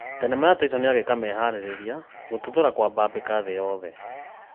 Thenema ya Tyson agĩĩka meharĩrĩria gũtuthũra kwambambĩka thĩ yothe